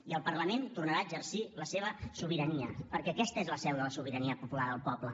i el parlament tornarà a exercir la seva sobirania perquè aquesta és la seu de la sobirania popular el poble